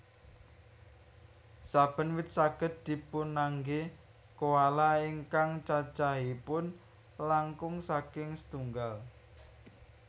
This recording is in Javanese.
Saben wit saged dipunanggé koala ingkang cacahipun langkung saking setunggal